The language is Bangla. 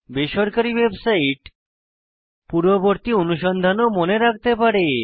বেসরকারী ওয়েবসাইট পূর্ববর্তী অনুসন্ধান ও মনে রাখতে পারে